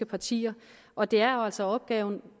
partier og det er jo altså opgaven